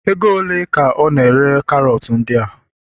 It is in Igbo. ego ole ka I na-ere karot ndia?